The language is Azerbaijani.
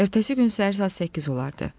Ertəsi gün səhər saat 8 olardı.